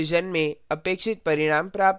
real division में अपेक्षित परिणाम प्राप्त होते हैं